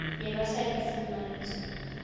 ne ba sa di fumantshwe